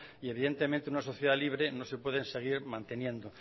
y evidentemente una sociedad libre no se pueden seguir manteniendo